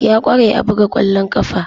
Ya kware a buga kwallon kafa.